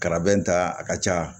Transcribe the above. Karabɛn ta a ka ca